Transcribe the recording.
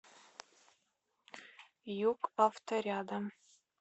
юг авто рядом